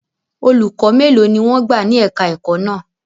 Olùkọ́ mélòó ni wọ́n gbà ní èka-ẹ̀kọ́ náà?